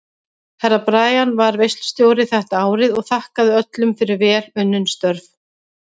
Herra Brian var veislustjóri þetta árið og þakkaði öllum fyrir vel unnin störf.